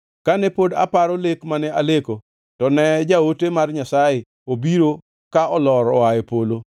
“Kane pod aparo lek mane aleko, to ne jaote mar Nyasaye obiro ka olor oa e polo.